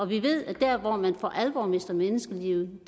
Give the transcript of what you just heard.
vi ved at der hvor man for alvor mister menneskeliv